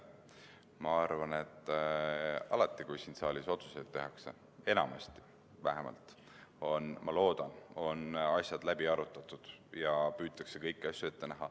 Ma arvan, et alati, kui siin saalis otsuseid tehakse – vähemalt enamasti, ma loodan –, on asjad läbi arutatud ja püütakse kõike ette näha.